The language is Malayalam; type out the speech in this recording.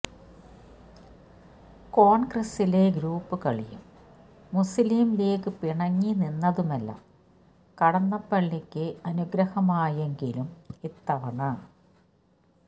കോൺഗ്രസ്സിലെ ഗ്രൂപ്പ് കളിയും മുസ്ലിം ലീഗ് പിണങ്ങി നിന്നതുമെല്ലാം കടന്നപ്പള്ളിക്ക് അനുഗ്രഹമായെങ്കിലും ഇത്തവണ